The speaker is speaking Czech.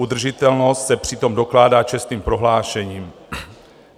Udržitelnost se přitom dokládá čestným prohlášením.